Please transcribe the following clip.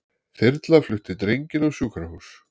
Þyrla flutti drenginn á sjúkrahús